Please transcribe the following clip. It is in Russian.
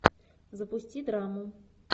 запусти драму